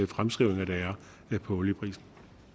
fremskrivninger af olieprisen